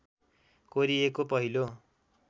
कोरिएको पहिलो